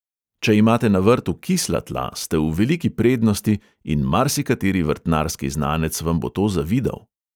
Če imate na vrtu kisla tla, ste v veliki prednosti in marsikateri vrtnarski znanec vam bo to zavidal.